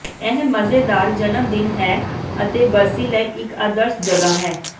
ਇਹ ਮਜ਼ੇਦਾਰ ਜਨਮਦਿਨ ਹੈ ਅਤੇ ਬਰਸੀ ਲਈ ਇੱਕ ਆਦਰਸ਼ ਜਗ੍ਹਾ ਹੈ